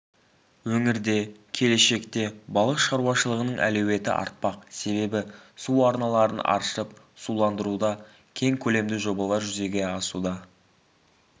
өңірде келешекте балық шаруашылығының әлеуеті артпақ себебі су арналарын аршып суландыруда кең көлемді жобалар жүзеге асуда